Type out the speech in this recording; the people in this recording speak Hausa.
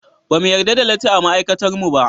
Ba mu yarda da latti a ma'aikatarmu ba.